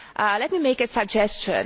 let me make a suggestion.